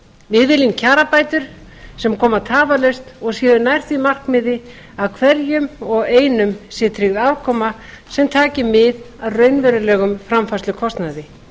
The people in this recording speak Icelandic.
við viljum kjarabætur sem koma tafarlaust og séu nær því markmiði að hverjum og einum sé tryggð afkoma sem taki mið af raunverulegum framfærslukostnaði